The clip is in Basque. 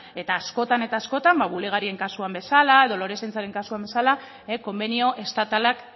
eta askotan eta askotan ba bulegarien kasuan bezala edo lorezaintzaren kasuan bezala konbenio estatalak